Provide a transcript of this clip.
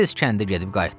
Nə tez kəndi gedib qayıtdız?